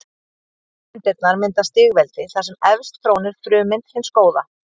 Frummyndirnar mynda stigveldi þar sem efst trónir frummynd hins góða.